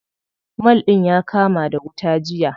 Mall ɗin ya kama da wuta jiya.